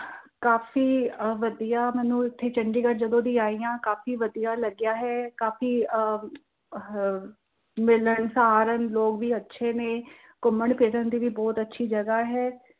ਕਾਫ਼ੀ ਅਹ ਵਧੀਆ ਮੈਂਨੂੰ ਏਥੇ ਚੰਡੀਗੜ ਜਦੋ ਦੀ ਆਈ ਆ ਕਾਫ਼ੀ ਵਧੀਆ ਲੱਗਿਆ ਹੈ ਕਾਫ਼ੀ ਆਹ ਹਮ ਮਿਲਣਸਾਰ ਲੋਕ ਵੀ ਅੱਛੇ ਨੇ ਘੁੰਮਣ ਫਿਰਨ ਦੀ ਬਹੁਤ ਅੱਛੀ ਜਗ੍ਹਾ ਹੈ।